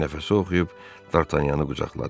Bir nəfəsə oxuyub Dartanyanı qucaqladı.